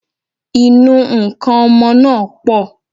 Ìnu nkan ọmọ náà pọ̀